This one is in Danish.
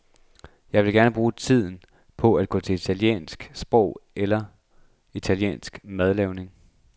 Jeg vil gerne bruge tiden på at gå til italiensk sprog eller italiensk madlavning.